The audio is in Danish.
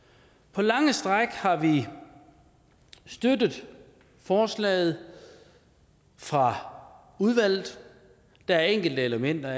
på lange stræk har vi støttet forslaget fra udvalget der er enkelte elementer